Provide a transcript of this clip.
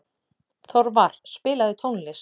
Þorvar, spilaðu tónlist.